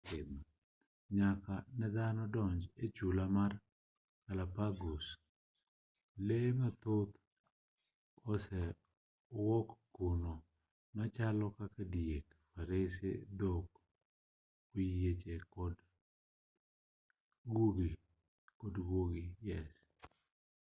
nyaka nedhano donj e chula mar galapagos lee mathoth oserwak kuno machalo kaka diek farese dhok oyieche kod guogi